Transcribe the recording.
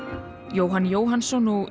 Jóhann Jóhannsson og